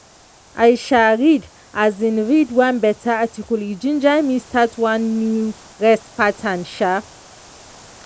i um read um read one better article e ginger me start one new rest pattern. um